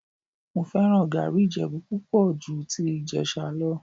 Mo fẹ́ràn gàárì Ìjẹ̀bú púpọ̀ ju ti Ìjẹ̀sà lọ